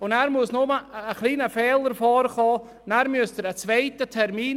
Aber es muss nur ein kleiner Fehler vorliegen, und schon benötigen Sie einen zweiten Termin.